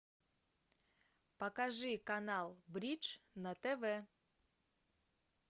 покажи канал бридж на тв